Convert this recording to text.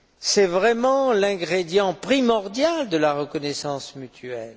C'est vraiment l'ingrédient premier de la reconnaissance mutuelle.